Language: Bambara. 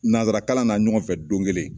Nanzara kalan na ɲɔgɔn fɛ don kelen.